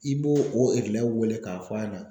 I b'o o wele k'a fɔ a ɲɛna